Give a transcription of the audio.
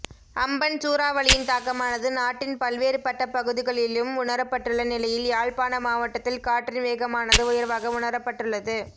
Amphan சூறாவளியின் தாக்கமானது நாட்டின் பல்வேறுபட்ட பகுதிகளிலும் உணரப்பட்டுள்ள நிலையில் யாழ்ப்பாண மாவட்டத்தில் காற்றின் வேகமானது உயர்வாக உணரப்பட்டுள்ளது